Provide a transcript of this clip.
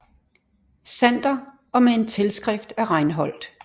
Sander og med en tilskrift af Reinhold